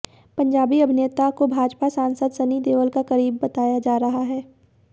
पंजाबी अभिनेता को भाजपा सांसद सनी देओल का करीब बताया जा रहा है